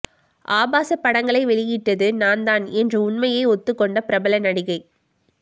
ஆபாச படங்களை வெளியிட்டது நான் தான் என்று உண்மையை ஒத்து கொண்ட பிரபல நடிகை